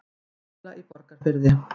Baula í Borgarfirði.